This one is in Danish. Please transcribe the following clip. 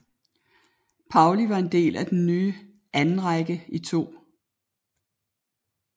Pauli var en del af den nye andenrække i 2